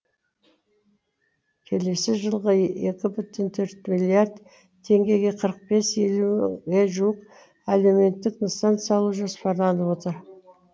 келесі жылға екі бүтін төрт миллиард теңгеге қырық бес елуге жуық әлеуметтік нысан салу жоспарланып отыр